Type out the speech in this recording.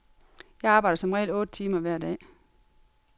Jeg arbejder som regel otte timer hver dag.